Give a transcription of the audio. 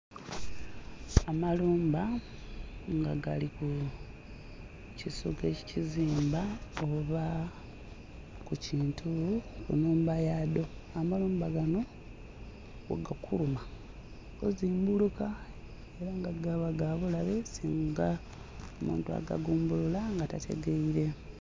Amalumba nga gali ku kisu gekizimba oba ku kintu ku nhumba yaadho, amayumba ganho ghegakuluma ozimbuluka era gaba ga bulabe singa omuntu agagumbulula nga tategeire.